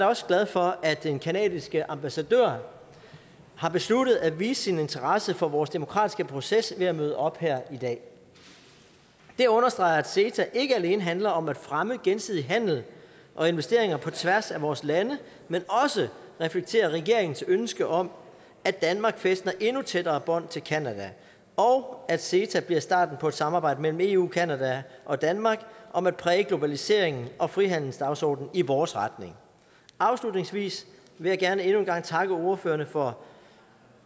også glad for at den canadiske ambassadør har besluttet at vise sin interesse for vores demokratiske proces ved at møde op her i dag det understreger at ceta ikke alene handler om at fremme gensidig handel og investeringer på tværs af vores lande men også reflekterer regeringens ønske om at danmark fæstner endnu tættere bånd til canada og at ceta bliver starten på et samarbejde mellem eu canada og danmark om at præge globaliseringen og frihandelsdagsordenen i vores retning afslutningsvis vil jeg gerne endnu en gang takke ordførerne for